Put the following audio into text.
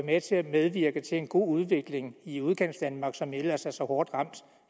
med til at medvirke til en god udvikling i udkantsdanmark som ellers er så hårdt ramt